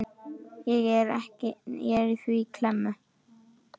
Ég er því í klemmu.